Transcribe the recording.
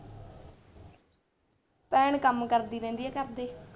ਭੈਣ ਕੰਮ ਕਰਦੀ ਰਹਿੰਦੀ ਆ ਘਰ ਦੇ।